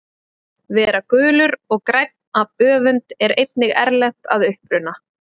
Vera gulur og grænn af öfund er einnig erlent að uppruna.